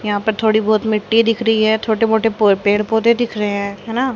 यहां पर थोड़ी बहोत मिट्टी दिख रही है छोटे मोटे पेड़ पौधे दिख रहे हैं न--